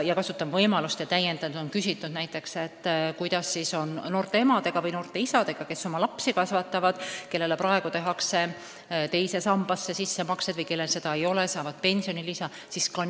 Ma kasutan võimalust ja märgin, et on küsitud ka, kuidas on noorte emade või noorte isadega, kes oma lapsi kasvatavad, kellele riik teeb praegu teise sambasse sissemakseid või kes teise samba puudumisel saavad tulevikus täiendavat pensionilisa.